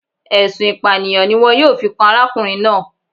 Ẹ̀sùn Ìpànìyàn ni wọn yóò fi kan arákùnrin náà